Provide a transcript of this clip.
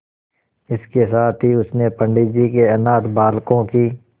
इसके साथ ही उसने पंडित जी के अनाथ बालकों की